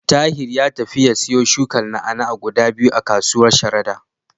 Tahir ya tafi ya siyo shukar na'a-na'a guda biyu a kasuwar Sharada.